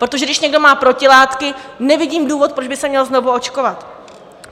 Protože když někdo má protilátky, nevidím důvod, proč by se měl znovu očkovat.